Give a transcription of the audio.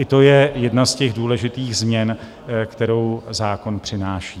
I to je jedna z těch důležitých změn, kterou zákon přináší.